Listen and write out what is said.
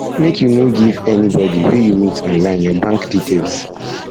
um make you no no um give anybodi wey you meet online your bank details